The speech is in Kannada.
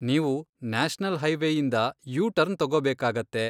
ನೀವು ನ್ಯಾಷನಲ್ ಹೈವೇಇಂದ ಯೂ ಟರ್ನ್ ತಗೋಬೇಕಾಗತ್ತೆ.